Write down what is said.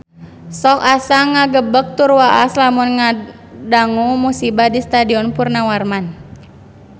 Sok asa ngagebeg tur waas lamun ngadangu musibah di Stadion Purnawarman